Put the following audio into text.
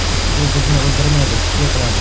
Bu bizni o‘ldirmaydi, kuchli qiladi!